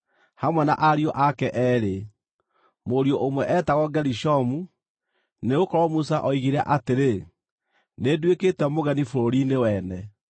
hamwe na ariũ ake eerĩ. Mũriũ ũmwe eetagwo Gerishomu, nĩgũkorwo Musa oigire atĩrĩ, “Nĩnduĩkĩte mũgeni bũrũri-inĩ wene”;